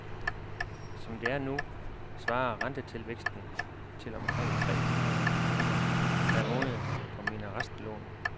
Som det er nu, svarer rentetilvæksten til omkring tre hundrede kroner per måned på mine restlån.